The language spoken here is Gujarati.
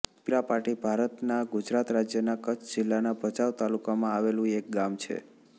પીપરાપાટી ભારતના ગુજરાત રાજ્યના કચ્છ જિલ્લાના ભચાઉ તાલુકામાં આવેલું એક ગામ છે